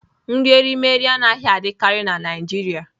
Nri erimeri anaghị adịkarị na Naịjirịa.